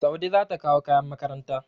Saude za ta kawo kayan makaranta.